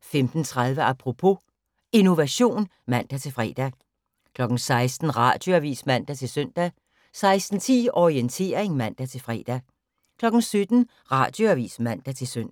15:30: Apropos - Innovation (man-fre) 16:00: Radioavis (man-søn) 16:10: Orientering (man-fre) 17:00: Radioavis (man-søn)